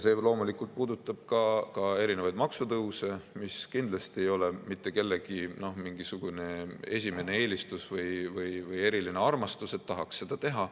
See loomulikult puudutab ka erinevaid maksutõuse, mis kindlasti ei ole mitte kellegi mingisugune esimene eelistus või eriline armastus, et tahaks seda teha.